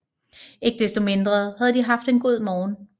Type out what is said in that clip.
Ikke desto mindre havde de haft en god morgen